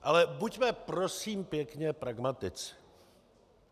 Ale buďme prosím pěkně pragmatici.